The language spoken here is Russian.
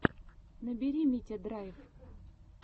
набери митя драйв